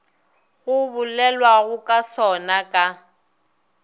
go bolelwago ka sona ka